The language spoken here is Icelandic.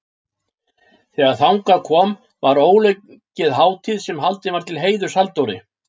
Þegar þangað kom var ólokið hátíð sem haldin var til heiðurs Halldóri